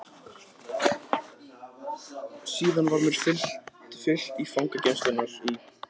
Síðan var mér fylgt í fangageymslurnar í